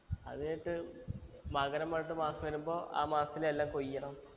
അത് കഴിഞ്ഞിട്ട് മകരം പറഞ്ഞിട്ട് മാസം വരുമ്പോ ആ മാസത്തിൽ എല്ലാം കൊയ്യണം